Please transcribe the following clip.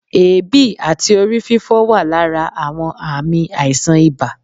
èébi àti orí-fífọ́ wà lára àwọn ààmì aíṣan ìbá